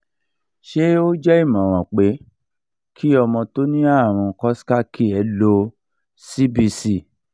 ṣé o je imoran pe ki ọmọ tó ní àrùn coxsackie ló cbc